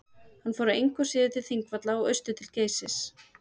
hann fór engu að síður til þingvalla og austur til geysis